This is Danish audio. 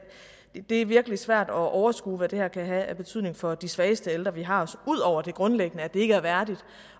det virkelig svært at overskue hvad det her kan have af betydning for de svageste ældre vi har udover det grundlæggende altså at det ikke er værdigt